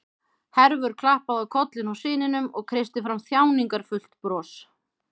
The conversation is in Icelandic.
Hervör klappaði á kollinn á syninum og kreisti fram þjáningarfullt bros.